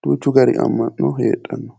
duuchu gari amma'no heedhanno.